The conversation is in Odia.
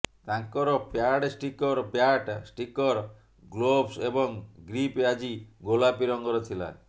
ତାଙ୍କର pad sticker bat sticker gloves ଏବଂ ଗ୍ରିପ୍ ଆଜି ଗୋଲାପୀ ରଙ୍ଗର ଥିଲା